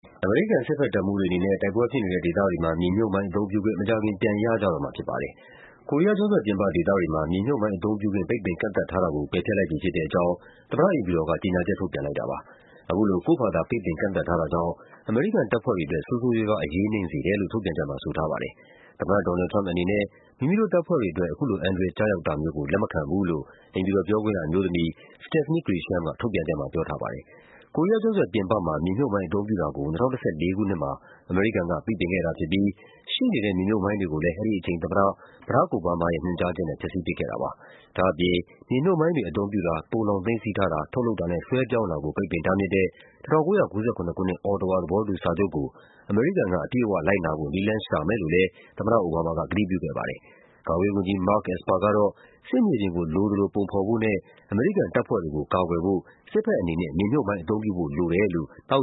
အမေရိကန် စစ်ဘက်တပ်မှူးတွေအနေနဲ့ တိုက်ပွဲဖြစ်နေတဲ့ဒေသတွေမှာ မြေမြှုပ်မိုင်းအသုံးပြုခွင့် မကြာခင် ပြန်ရကြတော့မှာ ဖြစ်ပါတယ်။ ကိုရီးယားကျွန်းဆွယ်ပြင်ပ ဒေသတွေမှာ မြေမြှုပ်မိုင်းအသုံးပြုခွင့် ပိတ်ပင်ကန့်သတ်ထားတာကို ပယ်ဖျက်လိုက်ပြီဖြစ်တဲ့အကြောင်း သမ္မတအိမ်ဖြူတော်က ကြေညာချက် ထုတ်ပြန်လိုက်တာပါ။ အခုလို ကိုယ့်ဖာသာ ပိတ်ပင်ကန့်သတ်ထားတာကြောင့် အမေရိကန် တပ်ဖွဲ့တွေအတွက် ဆိုးဆိုးရွားရွား အရေးနိမ့်စေတယ်လို့ ထုတ်ပြန်ချက်မှာ ဆိုထားပါတယ်။ သမ္မတ ဒေါ်နယ်လ်ဒ် ထရမ့်ပ်အနေနဲ့ မိမိတို့တပ်ဖွဲ့တွေအတွက် အခုလို အန္တရာယ်ကျရောက်တာမျိုးကို လက်မခံဘူးလို့ အိမ်ဖြူတော်ပြောခွင့်ရ အမျိုးသမီး Stephanie Grisham က ထုတ်ပြန်ချက်မှာ ပြောထားပါတယ်။ ကိုရီးယားကျွန်းဆွယ်ပြင်ပမှာ မြေမြှုပ်မိုင်းအသုံးပြုတာကို ၂၀၁၄ ခုနှစ်မှာ အမေရိကန်က ပိတ်ပင်ခဲ့တာဖြစ်ပြီး ရှိနေတဲ့ မြေမြှုပ်မိုင်း တွေကိုလည်း အဲဒီအချိန်သမ္မတ ဘရာ့ခ် အိုဘားမားရဲ့ ညွှန်ကြားချက်နဲ့ ဖျက်ဆီးပစ်ခဲ့တာပါ။ ဒါ့အပြင် မြေမြှုပ်မိုင်းတွေ အသုံးပြုတာ၊ သိုလှောင်သိမ်းဆည်းထားတာ၊ ထုတ်လုပ်တာနဲ့ လွှဲပြောင်းတာကို ပိတ်ပင်တားမြစ်တဲ့ ၁၉၉၇ ခုနှစ် Ottawa သဘောတူစာချုပ်ကို အမေရိကန်က အပြည့်အဝလိုက်နာဖို့ နည်းလမ်းရှာမယ်လို့လည်း သမ္မတအိုဘားမားက ကတိပြုခဲ့ပါတယ်။ ကာကွယ်ရေးဝန်ကြီး Mark Esper ကတော့ စစ်မြေပြင်ကို လိုသလိုပုံဖော်ဖို့နဲ့ အမေရိကန်တပ်ဖွဲ့တွေကို ကာကွယ်ဖို့ စစ်ဘက်အနေနဲ့ မြေမြှုပ်မိုင်းအသုံးပြုဖို့ လိုတယ်လို့ သော